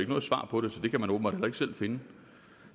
noget svar på det så det kan man åbenbart selv finde